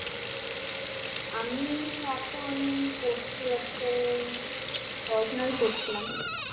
আমি এখন করছি হচ্ছে পড়াশোনাই করছিলাম.